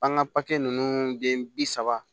An ka papiye ninnu den bi saba